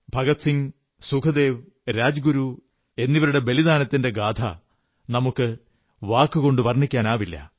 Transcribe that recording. ഭഗത് സിംഗ് സുഖ്ദേവ് രാജഗുരു എന്നിവരുടെ ബലിദാനത്തിന്റ ഗാഥ നമുക്കു വാക്കുകൾകൊണ്ട് വർണ്ണിക്കാനാവില്ല